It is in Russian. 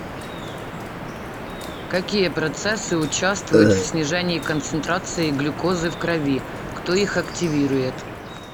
какие процессы участвуют в снижении концентрации глюкозы в крови кто их активирует